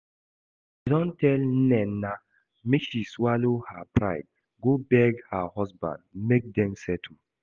I don tell Nnenna make she swallow her pride go beg her husband make dem settle